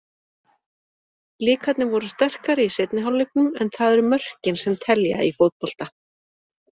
Blikarnir voru sterkari í seinni hálfleiknum, en það eru mörkin sem telja í fótbolta.